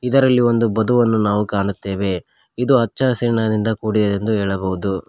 ಇದರಲ್ಲಿ ಒಂದು ಬದುವನ್ನು ನಾವು ಕಾಣುತ್ತೇವೆ ಇದು ಹಚ್ಚ ಹಸಿರಿನಿಂದ ಕೂಡಿದ ಎಂದು ಹೇಳಬಹುದು.